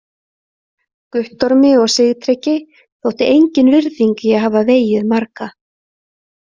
Guttormi og Sigtryggi þótti engin virðing í að hafa vegið marga.